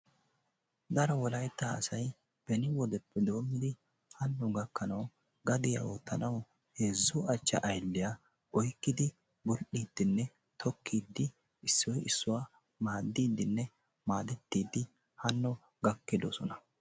Daro wolaytta asayi beni wodeppe doommidi hanno gakkanawu gadiya oottanawu heezzu achcha aylliya oykkidi bull"iiddinne tokkiiddi issoyi issuwa maaddiiddinne maadettiiddi hanno gakkidosona.